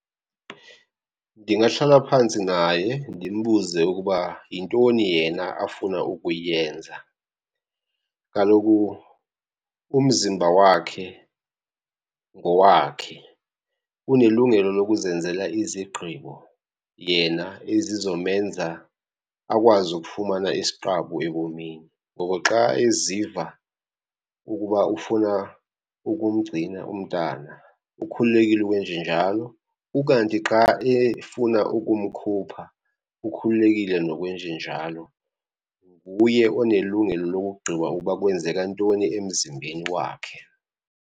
Ndingahlala phantsi naye ndimbuze ukuba yintoni yena afuna ukuyenza. Kaloku umzimba wakhe ngowakhe, unelungelo lokuzenzela izigqibo yena ezizomenza akwazi ukufumana isiqabu ebomini. Ngoko xa eziva ukuba ufuna ukumgcina umntana ukhululekile ukwenjenjalo, ukanti xa efuna ukumkhupha ukhululekile nokwenjenjalo. Nguye onelungelo lokugqiba uba kwenzeka ntoni emzimbeni wakhe.